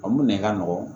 Olu nɛni ka nɔgɔn